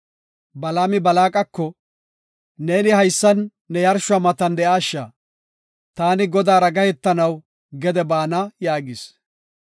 Balaami Balaaqako, “Neeni haysan ne yarshuwa matan de7aasha; taani Godaara gahetanaw gede baana” yaagis.